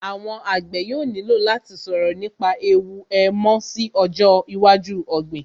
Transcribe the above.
Àwọn àgbẹ̀ yóò nílò láti sọ̀rọ̀ nípa ẹ̀wù èèmọ̀ sí ọjọ́ iwájú ọ̀gbìn